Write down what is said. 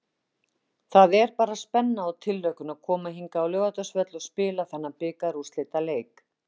Það er bara spenna og tilhlökkun að koma hingað á Laugardalsvöll og spila þennan bikarúrslitaleik.